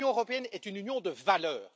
L'Union européenne est une union de valeurs.